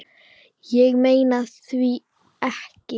Ég meina hví ekki?